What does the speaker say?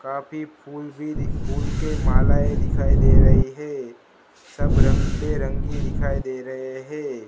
काफी फूल ही फूलों के मालाएं दिखाई दे रही है सब रंग से रंगी दिखाई दे रहे हैं।